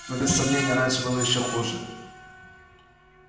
но без сомнения раньше было ещё хуже